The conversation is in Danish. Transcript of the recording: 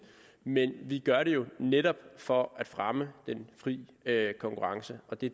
men vi gør det jo netop for at fremme den frie konkurrence og det